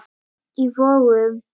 í Vogum.